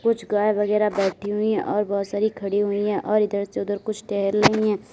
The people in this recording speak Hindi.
कुछ गाय वगैरा बैठी हुई और बहोत सारी खड़ी हुई है और इधर से उधर कुछ टहल रही है।